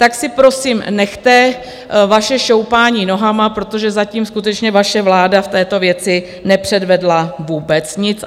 Tak si prosím nechte vaše šoupání nohama, protože zatím skutečně vaše vláda v této věci nepředvedla vůbec nic.